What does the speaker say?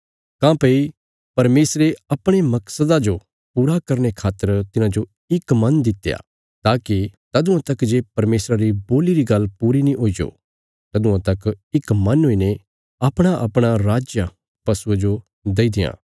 काँह्भई परमेशरे अपणे मकसदा जो पूरा करने खातर तिन्हांजो इक मन दित्या ताकि तदुआं तक जे परमेशरा री बोल्ली री गल्ल पूरी नीं हुईजो तदुआं तक इक मन हुईने अपणाअपणा राज पशुये जो देई देआ